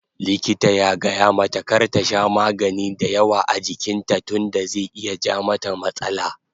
Likita ya gayamata kar ta sha magani dayawa a jikin ta tunda zai iya ja mata matsala